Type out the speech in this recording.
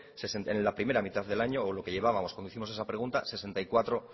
en la primera mitad del año o lo que llevábamos cuando hicimos esa pregunta sesenta y cuatro